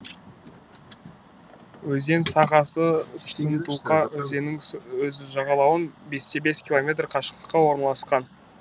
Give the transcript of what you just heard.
өзен сағасы сынтулка өзенінің сол жағалауынан бес те бес километр қашықтықта орналасқан